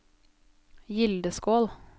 Gildeskål